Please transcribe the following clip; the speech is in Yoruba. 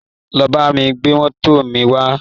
Lọ bá mi gbé mọ́tò mi wá!